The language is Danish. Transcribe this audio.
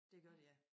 Det gør det ja